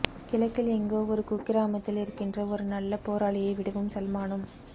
கிழக்கில் எங்கோ ஒரு குக்கிராமத்தில் இருக்கின்ற ஒரு நல்ல போராளியை விடவும் சல்மானும்